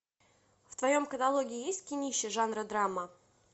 в твоем каталоге есть кинище жанра драма